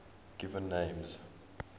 given names